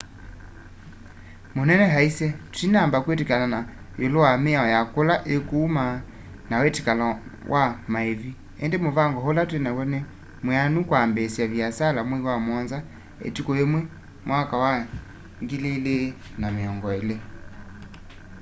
munene aisye twinamba kwiw'ana iulu wa miao ya kula ikuuma na witikilano wa maivi indi muvango ula twinaw'o ni mwianu kwambiisya viasala mwei wa muonza ituku yimwe 2020